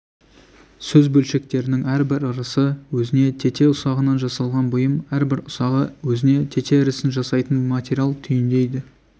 сөз бөлшектерінің әрбір ірісі өзіне тете ұсағынан жасалған бұйым әрбір ұсағы өзіне тете ірісін жасайтын материал түйіндейді